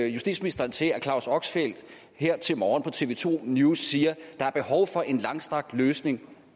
justitsministeren til at claus oxfeldt her til morgen på tv to news siger at der er behov for en langsigtet løsning